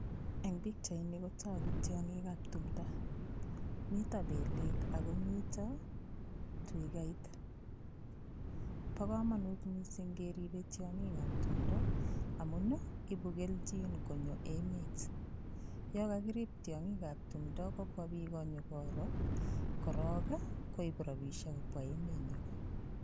Eng' pikchaini kotoku tiong'ikab tumdo mito belek akomito twikait bo komonut mising' keribei tiong'ikab tumdo amun ibu keljin konyo emet yo kakirip tiong'ikab tumdo kobwa piko nyikoro korok koip rapishek kobwa emenyo